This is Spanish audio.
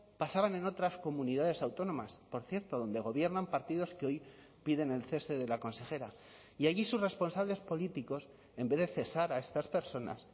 pasaban en otras comunidades autónomas por cierto donde gobiernan partidos que hoy piden el cese de la consejera y allí sus responsables políticos en vez de cesar a estas personas